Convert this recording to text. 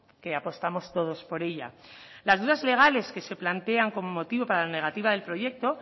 que apostamos todos por ella las dudas legales que se plantean como motivo para la negativa del proyecto